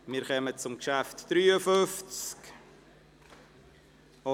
Wir kommen zum Traktandum 53.